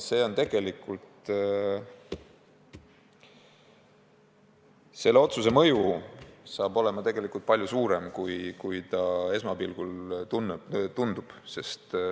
Tegelikult selle otsuse mõju saab olema palju suurem, kui esmapilgul tundub.